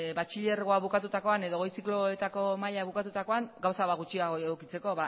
batxilergoa bukatutakoan edo goi zikloetako maila bukatutakoan gauza bat gutxiago edukitzeko